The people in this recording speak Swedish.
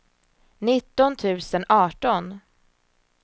nitton tusen arton